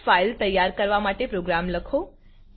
test file તૈયાર કરવા માટે પ્રોગ્રામ લખો